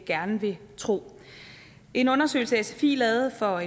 gerne vil tro en undersøgelse sfi lavede for